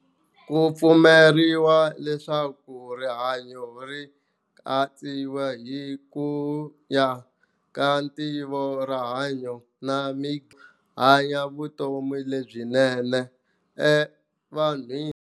Kupfumeriwa leswaku Rihanyo ri antswiwa hi kuya ka ntivo rihanyo na mi hanya vutomi lebyinene evanhwini.